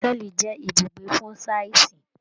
Hotẹẹli jẹ ibùgbé fun sáà sí.